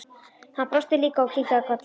Hann brosti líka og kinkaði kolli.